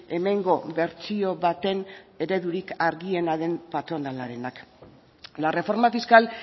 hemengo bertsio baten eredurik argiena den patronalarenak la reforma fiscal